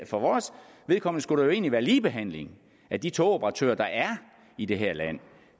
for vores vedkommende skulle der jo egentlig være ligebehandling af de togoperatører der er i det her land